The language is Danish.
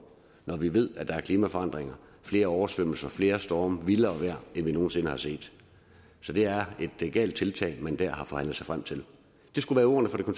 når vi ved at der er klimaforandringer flere oversvømmelser flere storme vildere vejr end vi nogen sinde har set så det er et galt tiltag man der har forhandlet sig frem til det skulle være ordene fra